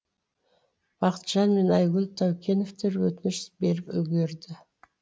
бақытжан мен айгүл таукеновтер өтініш беріп үлгерді